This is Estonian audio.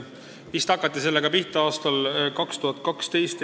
Sellega hakati pihta vist aastal 2012.